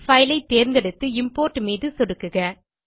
file ஐ தேர்ந்தெடுத்து import மீது சொடுக்குக